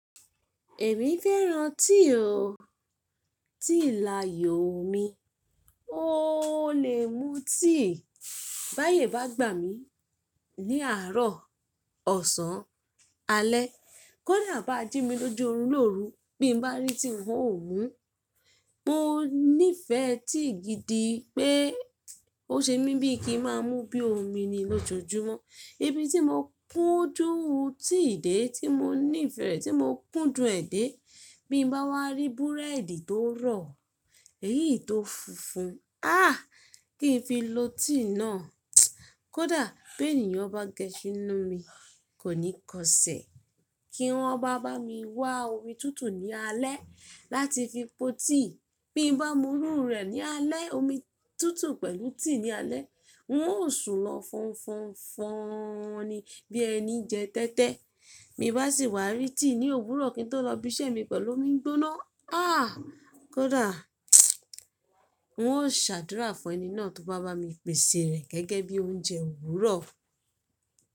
Èmi fẹ́ran tea ó, tea láyòo mi. O lè mú tea bá yè bá gbà mí ní àárọ̀, ọ̀sán, alẹ́. Kódà bá jí mi lójú òrun lóru bí n bá rí tea wun ò mú. Mo nífẹ̀ẹ́ tea gidi pé ó ṣe mí bíi kí ń má mú bí i omi ni lójoojúmọ́. Ibi tí mo kúndùn tea dé tí mo nífẹ̀ẹ́ rẹ̀, tí mo kúndùn ẹ̀ dé, bí n bá wá rí búrẹ́dì tó rọ̀, ẹ̀yí tó funfun. Àh! Kí n fi lo tea náà. Kódà bí ènìyàn bá gẹṣín nú mi, kò ní kọ ṣẹ̀. Kí wọn bá bá mi wá omi tútù ní alẹ́ láti fi po tea, bí n bá múrú rẹ̀ ní alẹ́, omi tútù pẹ̀lú tea ní alẹ́, wọn ó sùn lọ fọnfọnfọni bí ẹni jẹ tẹ́tẹ́. Bí n bá sì wá rí tea ní òwúrọ̀ kí n tó lọ ibi iṣẹ́ mi pẹ̀lú omi gbóná, àh! Kódà wun ó ṣàdúrà fún ẹni náà tó bá bá mi pèsè rẹ̀ gẹ́gẹ́ bí oúnjẹ òwúrọ̀.